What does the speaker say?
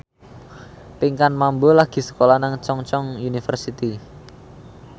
Pinkan Mambo lagi sekolah nang Chungceong University